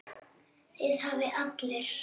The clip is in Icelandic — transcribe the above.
Það hafa allir